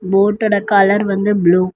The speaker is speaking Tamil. போட்டோட கலர் வந்து ப்ளூ .